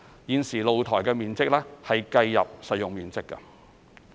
現時露台面積計入實用面積。